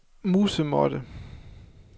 musemåtte